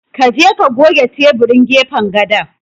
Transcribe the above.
Ka je ka goge teburin gefen gadon.